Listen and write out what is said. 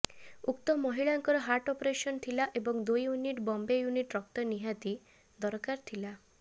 ଉକ୍ତ ମହିଳାଙ୍କର heart operation ଥିଲା ଏବଂ ଦୁଇ ୟୁନିଟ ବମ୍ବେ ୟୁନିଟ୍ ରକ୍ତ ନିହାତି ଦରକାର ଥିଲା